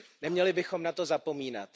Neměli bychom na to zapomínat.